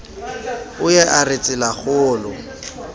o ye a re tselakgolo